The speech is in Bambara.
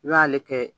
I b'ale kɛ